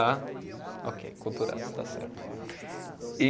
Ah, ok, aculturados, está certo. E